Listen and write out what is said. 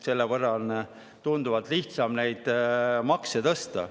Selle võrra on neil tunduvalt lihtsam makse tõsta.